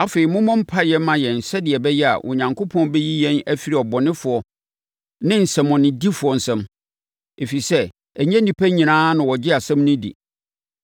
Afei, mommɔ mpaeɛ mma yɛn sɛdeɛ ɛbɛyɛ a Onyankopɔn bɛyi yɛn afiri abɔnefoɔ ne nsɛmmɔnedifoɔ nsam. Ɛfiri sɛ, ɛnyɛ nnipa nyinaa na wɔgye asɛm no di.